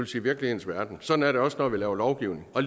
sige virkelighedens verden sådan er det også når vi laver lovgivning og